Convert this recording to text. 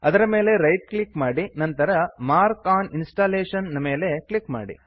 ಅದರ ಮೇಲೆ right click ಮಾಡಿ ನಂತರ ಮಾರ್ಕ್ ಫೋರ್ ಇನ್ಸ್ಟಾಲೇಷನ್ ನ ಮೇಲೆ ಕ್ಲಿಕ್ ಮಾಡಿ